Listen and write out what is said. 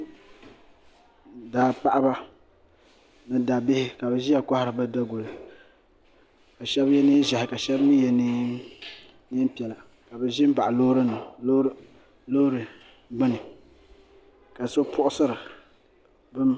Daa paɣaba ni daabihi ka bi ʒiya kohari bi daguli ka shab yɛ neen ʒiɛhi ka shab mii yɛ neen piɛla ka bi ʒi n baɣa loori gbuni ka so puɣusira bini